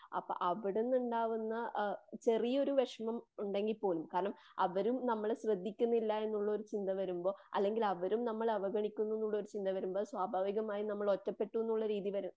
അപ്പം അവിടുന്നുണ്ടാവുന്ന ചെറിയൊരു വിഷമം ഉണ്ടെങ്കിൽ പോലും. കാരണം അവരും നമ്മളെ ശ്രദ്‌ധിക്കുന്നില്ല എന്നുള്ളൊരു ചിന്ത വരുമ്പോൾ അല്ലങ്കിൽ അവരും നമ്മളെ അവഗണിക്കുന്നു എന്നുള്ളൊരു ചിന്ത വരുമ്പോൾ. സ്വഭാവികമായും നമ്മൾ ഒറ്റപെട്ടുന്നുള്ളൊരു രീതിവരെ.